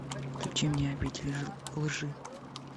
включи мне обитель лжи